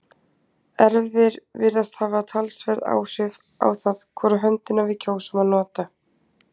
Erfðir virðast hafa talsverð áhrif á það hvora höndina við kjósum að nota.